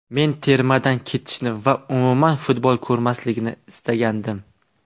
Men termadan ketishni va umuman futbol ko‘rmaslikni istagandim.